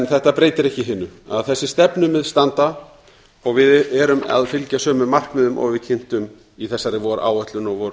þetta breytir ekki hinu að þessi stefnumið standa og við erum að fylgja sömu markmiðum og við kynntum í þessari